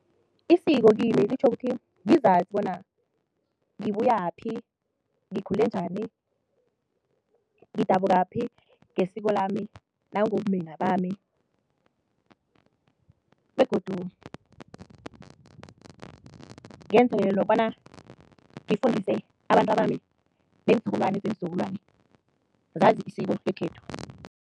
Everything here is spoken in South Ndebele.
Isiko kimi litjho ukuthi ngizazi bona ngibuyaphi, ngikhule njani, ngidabukaphi ngesiko lami nangobumina bami begodu ngenzele nokobana ngifundise abantwabami nenzukulwane zeenzukulwana zazi isiko lekhethu.